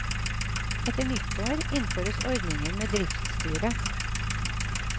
Etter nyttår innføres ordningen med driftsstyre.